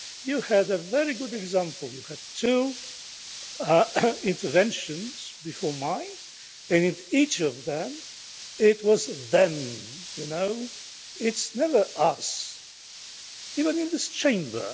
You had a very good example you had two interventions before mine, and in each of them it was them'. It's never us', even in this Chamber.